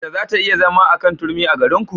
Mace za ta iya zama a kan turmi a garinku?